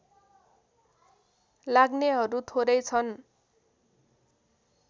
लाग्नेहरू थोरै छन्